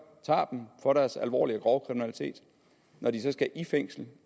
tager dem for deres alvorlige grove kriminalitet og når de så skal i fængsel